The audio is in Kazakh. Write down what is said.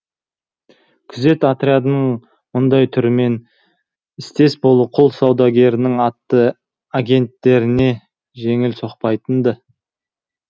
күзет отрядының мұндай түрімен істес болу құл саудагерінің агенттеріне жеңіл соқпайтын ды